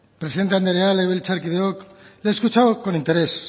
presidente andrea legebiltzarkideok le he escuchado con interés